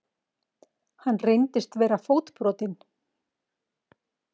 Hann reyndist vera fótbrotinn